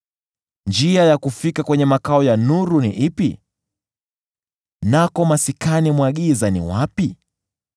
“Njia ya kufika kwenye makao ya nuru ni ipi? Nako maskani mwa giza ni wapi?